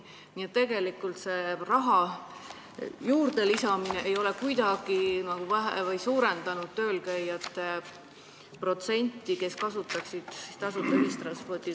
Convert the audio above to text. Nii et tegelikult raha juurdelisamine ei ole kuidagi suurendanud nende inimeste osakaalu, kes kasutavad tööl käimiseks tasuta ühistransporti.